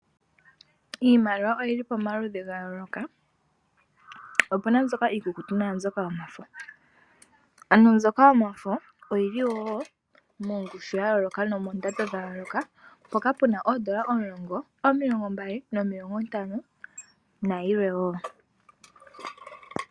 Iimaliwa oyili pamaludhi ga yooloka. Opuna mbyoka iikukutu naa mbyoka yomafo. Ano mbyoka yomafo oyili wo mongushu ya yooloka noondando dha yooloka, mpoka puna oondola omulongo, omilongo mbali nomilongo ntano na yilwe wo.